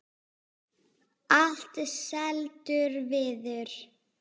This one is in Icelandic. Allt seldur viður.